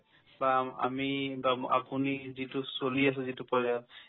বা আম~ আমি বা ম আপুনি যিটো চলি আছে যিটো পৰ্য্যায়ত